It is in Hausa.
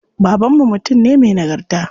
Baban mu mutum ne me nagarta.